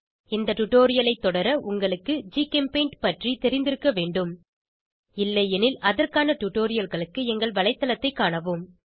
இந்த டுடோரியலை தொடர உங்களுக்கு ஜிகெம்பெய்ண்ட் பற்றி தெரிந்திருக்க வேண்டும் இல்லையெனில் அதற்கான டுடோரியல்களுக்கு எங்கள் வலைத்தளத்தைக் காணவும்